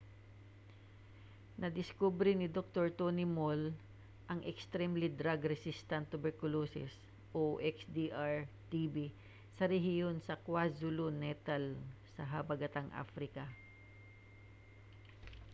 nadiskubre ni doktor tony moll ang extremely drug resistant tuberculosis xdr-tb sa rehiyon sa kwazulu-natal sa habagatang africa